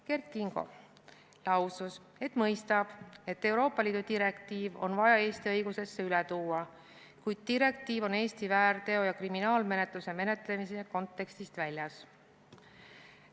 Kert Kingo lausus, et mõistab, et Euroopa Liidu direktiiv on vaja Eesti õigusesse üle tuua, kuid direktiiv on Eesti väärteo- ja kriminaalmenetluse kontekstist väljas.